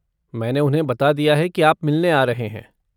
मैंने उन्हें बता दिया है कि आप मिलने आ रहे हैं।